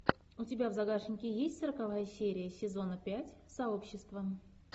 у тебя в загашнике есть сороковая серия сезона пять сообщество